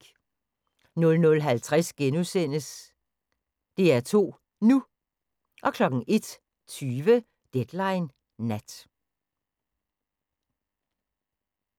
00:50: DR2 NU * 01:20: Deadline Nat